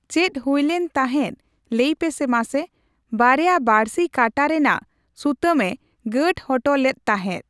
ᱪᱮᱫ ᱦᱩᱭᱞᱮᱱ ᱛᱟᱦᱮᱸᱫ ᱞᱟᱹᱭ ᱯᱮᱥᱮ ᱢᱟᱥᱮ ᱾ᱵᱟᱨᱭᱟ ᱵᱟᱬᱥᱤ ᱠᱟᱱᱴᱟ ᱨᱮᱱᱟᱜ ᱥᱩᱛᱟᱹᱢ ᱮ ᱜᱟᱸᱴ ᱦᱚᱴᱚ ᱞᱮᱫ ᱛᱟᱦᱮᱸᱫ ᱾